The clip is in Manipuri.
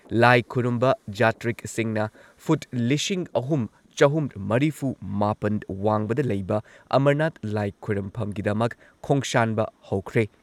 ꯂꯥꯏ ꯈꯨꯔꯨꯝꯕ ꯖꯥꯇ꯭ꯔꯤꯛꯁꯤꯡꯅ ꯐꯨꯠ ꯂꯤꯁꯤꯡ ꯑꯍꯨꯝ ꯆꯍꯨꯝ ꯃꯔꯤꯐꯨꯃꯥꯄꯟ ꯋꯥꯡꯕꯗ ꯂꯩꯕ ꯑꯃꯔꯅꯥꯊ ꯂꯥꯏ ꯈꯨꯔꯨꯝꯐꯝꯒꯤꯗꯃꯛ ꯈꯣꯡꯁꯥꯟꯕ ꯍꯧꯈ꯭ꯔꯦ꯫